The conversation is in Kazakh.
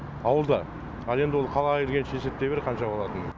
ауылда ал енді ол қалаға келгенше есептей бер қанша болатынын